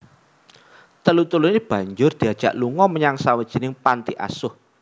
Telu teluné banjur diajak lunga menyang sawijining panti asuh